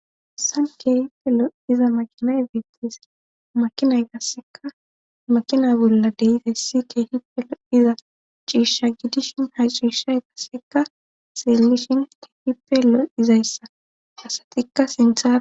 Haysan keehipe lo'iza maqinay beettis makinay kasseka makina bolla deyite ssi keehipelo iza ciishsha gidishin ha ciishay kasseka seellishin keehipelo izayssa asatikka sintha